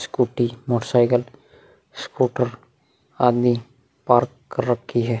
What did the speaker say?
Scooty और motorcycle scooter आदि park कर रखी हैं।